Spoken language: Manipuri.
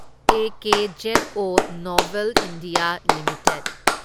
Akzo Nobel India limited